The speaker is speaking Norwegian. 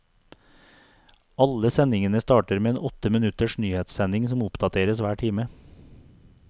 Alle sendingene starter med en åtte minutters nyhetssending som oppdateres hver time.